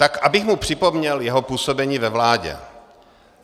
Tak abych mu připomněl jeho působení ve vládě.